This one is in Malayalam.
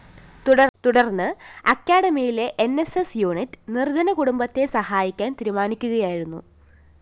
തുടര്‍ന്ന് അക്കാഡമിയിലെ ന്‌ സ്‌ സ്‌ യൂണിറ്റ്‌ നിര്‍ദ്ധന കുടുംബത്തെ സഹായിക്കാന്‍ തീരുമാനിക്കുകയായിരുന്നു